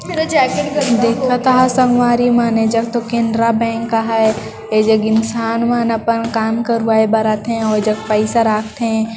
देखता संगवारी मन एजग त केनरा बैंक हैं एजग इंसान मन अपन काम करवाए बर आथे अऊ ओ जग पईसा राख थे।